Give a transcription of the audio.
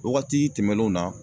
Wagati tɛmɛnenw na